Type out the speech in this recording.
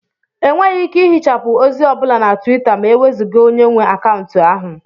Enweghị ike ihichapụ ozi ọ bụla na Twita ma e wezụga onye nwe akaụntụ ahụ